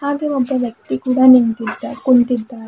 ಹಾಗೇ ಒಬ್ಬ ವ್ಯಕ್ತಿ ಕೂಡ ನಿಂತಿದ್ದ ಕುಂತಿದ್ದಾರೆ.